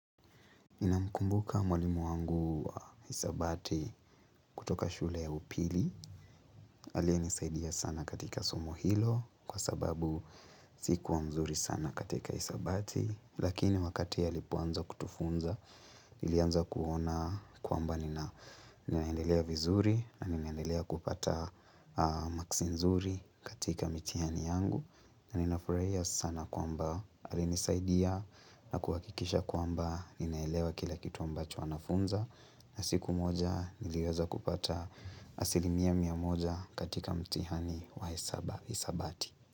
Namkumbuka mwalimu wangu wa hisabati kutoka shule ya upili, aliye nisaidia sana katika somo hilo kwa sababu sikuwa mzuri sana katika hisabati, lakini wakati alipoanza kutufunza, nilianza kuona kwamba nina ninaendelea vizuri na ninaendelea kupata maksi nzuri katika mitihani yangu. Na ninafurahia sana kwamba alinisaidia na kuhakikisha kwamba ninaelewa kila kitu ambacho anafunza na siku moja niliweza kupata asilimia mia moja katika mtihani wa hisabati.